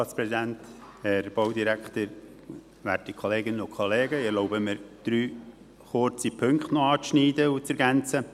Ich erlaube mir, drei kurze Punkte noch anzuschneiden und zu ergänzen.